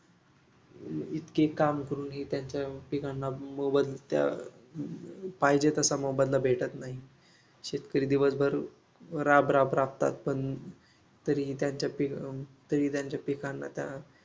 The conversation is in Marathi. यामुळे इतके काम करूनही त्यांच्या त्यांना मोबदला पाहिजे तसा मोबदला भेटत नाही. शेतकरी दिवसभर राबराब राबतात पण तरही त्यांच्या पीक अं पिकांना त्या